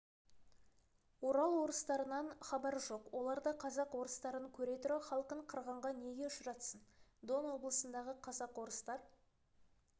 орал орыстарынан хабар жоқ олар да казак-орыстарын көре тұра халқын қырғынға неге ұшыратсын дон облысындағы казак-орыстар